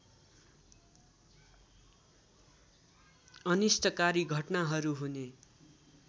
अनिष्टकारी घटनाहरू हुने